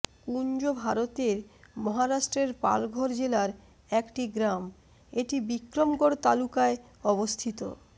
কুঞ্জ ভারতের মহারাষ্ট্রের পালঘর জেলার একটি গ্রাম এটি বিক্রমগড় তালুকায় অবস্থিত